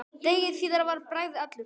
Degi síðar var Bragi allur.